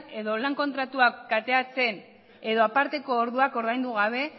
edo lan kontratuak kateatzen edo aparteko orduak ordaindu gabe